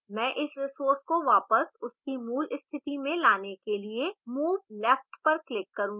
मैं इस resource को वापस उसकी move स्थिति में लाने के लिए move left पर click करूँगी